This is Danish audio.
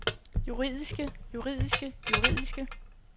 juridiske juridiske juridiske